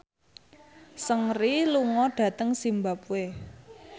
Seungri lunga dhateng zimbabwe